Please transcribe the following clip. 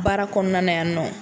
Baara kɔnɔna na yan nɔ